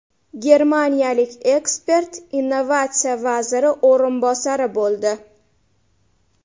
Germaniyalik ekspert innovatsiya vaziri o‘rinbosari bo‘ldi.